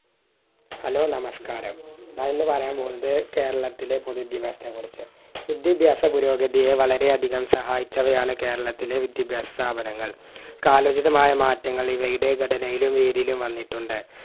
hello നമസ്ക്കാരം ഞാനിന്ന് പറയാൻ പോകുന്നത് കേരളത്തിലെ വിദ്യഭ്യാസത്തിനെ കുറിച് വിദ്യഭ്യാസ പുരോഗതിയെ വളരെയധികം സഹായിച്ചവയാണ് കേരളത്തിലെ വിദ്യഭ്യാസ സ്ഥാപനങ്ങൾ കാലഹിതമായ മാറ്റങ്ങൾ ഇവയുടെ ഘടനയിലും രീതിയിലും വന്നിട്ടുണ്ട്